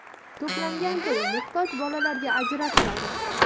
To‘plangan pul muhtoj bolalarga ajratiladi.